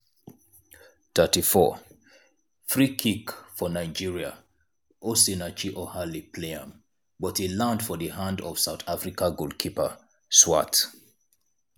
34' freekick for nigeria osinachi ohale play am but e land for di hands of south africa goalkeeper swart.